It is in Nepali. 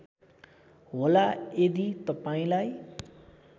होला यदि तपाईँलाई